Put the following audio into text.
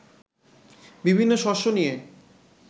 বিভিন্ন শস্য নিয়ে